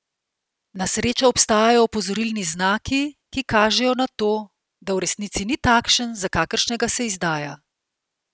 Na srečo obstajajo opozorilni znaki, ki kažejo na to, da v resnici ni takšen, za kakršnega se izdaja!